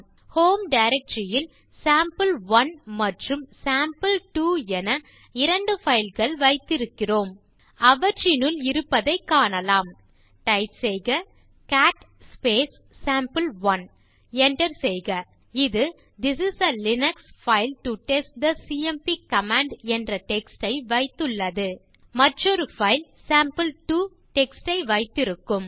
home directory ல் sample one மற்றும் sample two என இரண்டு பைல் கள் வைத்திருக்கிறோம் அவற்றினுள் இருப்பதைக் காணலாம் டைப் செய்க கேட் சாம்பே1 Enter செய்க இது this is a Linux file to test the CMP command என்ற டெக்ஸ்ட் ஐ வைத்துள்ளது மற்றொரு பைல் சேம்பிள்2 டெக்ஸ்ட் ஐ வைத்திருக்கும்